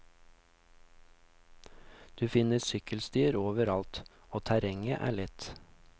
Du finner sykkelstier over alt, og terrenget er lett.